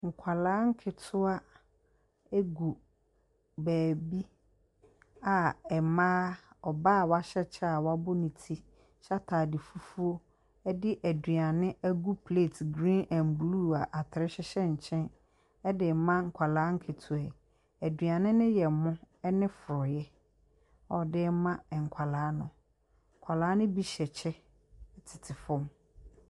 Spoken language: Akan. Nkwadaa nketewa gu baabi a mmaa ɔbaa a wahyɛ kyɛ a wabɔ ne ti hyɛ ataade fufuo de aduane agu plate green and blue a atere hyehyɛ nkyɛn de rema nkwadaa nketewa yi. Aduane no yɛ ɛmo ne frɔeɛ. Ↄde rema nkwadaa no. nkwadaa no bi tete fam.